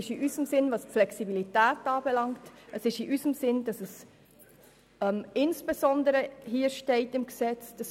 In Bezug auf die Flexibilität ist dies in unserem Sinn, insbesondere auch, dass es hier im Gesetz steht.